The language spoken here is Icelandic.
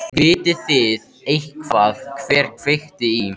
Gunnfríður, hver er dagsetningin í dag?